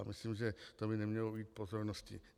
Já myslím, že to by nemělo ujít pozornosti.